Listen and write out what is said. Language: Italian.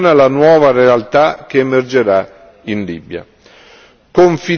l'attuale missione alla nuova realtà che emergerà in Libia.